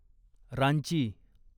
Ranchi